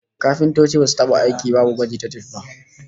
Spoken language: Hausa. Kafintoci basu taba aiki babu gwaji ta tif ba